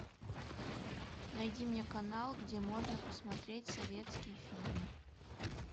найди мне канал где можно посмотреть советский фильм